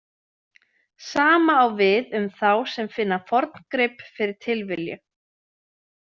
Sama á við um þá sem finna forngrip fyrir tilviljun.